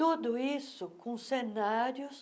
Tudo isso com cenários